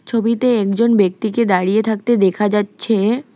ছবিতে একজন ব্যক্তিকে দাঁড়িয়ে থাকতে দেখা যাচ্ছে।